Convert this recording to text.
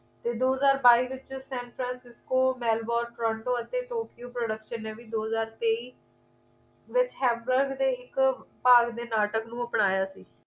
ਤੇ ਦੋ ਹਜ਼ਾਰ ਬਾਈ ਵਿਚ San Francisco Melbourne Torrento ਅਤੇ tokyo production ਨੇ ਵੀ ਦੋ ਹਜ਼ਾਰ ਤੇਈ ਵਿੱਚ hamburg ਦੇ ਇੱਕ ਭਾਗ ਦੇ ਨਾਟਕ ਨੂੰ ਅਪਣਾਇਆ ਸੀ